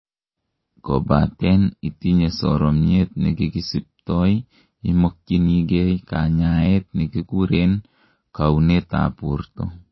kobaten itinyei soromnyet nekikisibtoi, imokyinigei kanyaet nekikuren kounet tab borto.